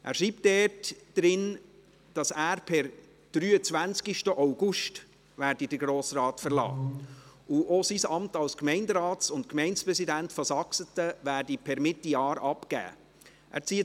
Er schreibt, dass er per 23. August 2019 den Grossen Rat verlassen werde und auch sein Amt als Gemeinderat und Gemeindepräsident von Saxeten per Mitte Jahr abgeben werde.